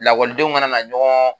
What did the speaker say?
Lakɔlidenw kana na ɲɔgɔn